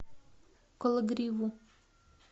кологриву